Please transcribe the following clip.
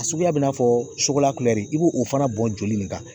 Suguya bɛ i n'a fɔ sugu la i b'o o fana bɔn joli nin kan.